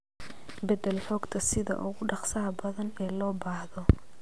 Beddel xogta sida ugu dhakhsaha badan ee loo baahdo.